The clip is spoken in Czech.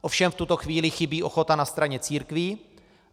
Ovšem v tuto chvíli chybí ochota na straně církví.